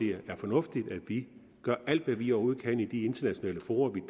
det er fornuftigt at vi gør alt hvad vi overhovedet kan i de internationale fora vi